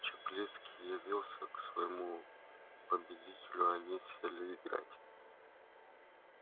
чаплицкий явился к своему победителю они сели играть